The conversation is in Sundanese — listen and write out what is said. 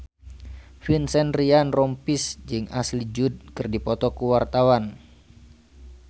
Vincent Ryan Rompies jeung Ashley Judd keur dipoto ku wartawan